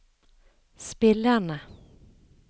spillerne